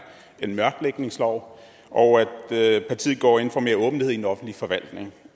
en mørklægningslov og at partiet går ind for mere åbenhed i den offentlige forvaltning